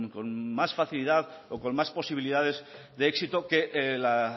con más facilidad o con más posibilidades de éxito que la